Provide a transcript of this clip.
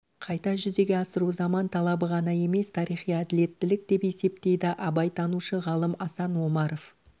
қайта жүзеге асыру заман талабы ғана емес тарихи әділеттілік деп есептейді абайтанушы ғалым асан омаров